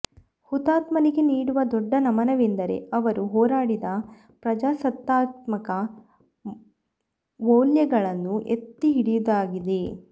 ಹುತಾತ್ಮರಿಗೆ ನೀಡುವ ದೊಡ್ಡ ನಮನವೆಂದರೆ ಅವರು ಹೋರಾಡಿದ ಪ್ರಜಾಸತ್ತಾತ್ಮಕ ವೌಲ್ಯಗಳನ್ನು ಎತ್ತಿಹಿಡಿಯುದಾಗಿದೆ